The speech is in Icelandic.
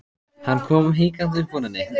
Hann kom hikandi upp úr henni.